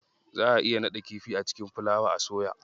Za a iya naɗa kifi a cikin fulawa a soya.